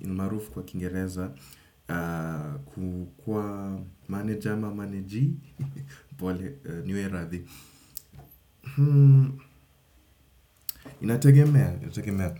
ilmaarufu kwa kingereza kukua maneja ama maneji pole, niwie radhi. Inategemea? Inategemea.